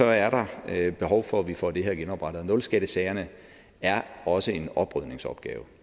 er der behov for at vi får det her genoprettet og nulskattesagerne er også en oprydningsopgave